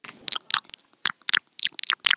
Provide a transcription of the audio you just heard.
Þetta voru orð að hans skapi.